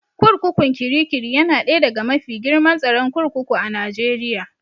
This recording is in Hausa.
Kurkukun Kirikiri yana ɗaya daga mafi girman tsaron kurkuku a Najeriya